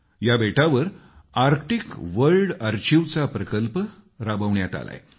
या व्दीपामध्ये Arctic world आर्काईव्हचा प्रकल्प बनवण्यात आलाय